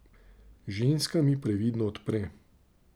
Ženska mi previdno odpre.